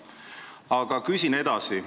Aga küsin edasi.